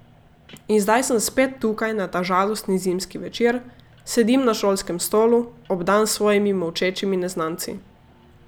In zdaj sem spet tukaj na ta žalostni zimski večer, sedim na šolskem stolu, obdan s svojimi molčečimi neznanci.